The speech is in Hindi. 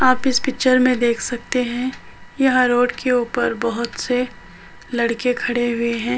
आप इस पिक्‍चर में देख सकते हैं यह रोड के ऊपर बहोत से लड़के खड़े हुए हैं।